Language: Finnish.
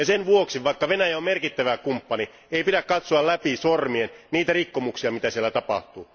Sen vuoksi vaikka Venäjä on merkittävä kumppani ei pidä katsoa läpi sormien niitä rikkomuksia, joita siellä tapahtuu.